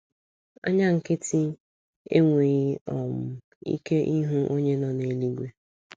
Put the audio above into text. Anya nkịtị enweghị um ike ịhụ onye nọ n’eluigwe.